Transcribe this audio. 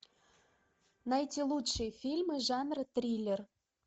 найти лучшие фильмы жанра триллер